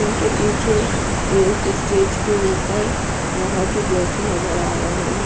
Pool के पीछे एक स्टेज के ऊपर यहाँ के गेस्ट नज़र आ रहे है।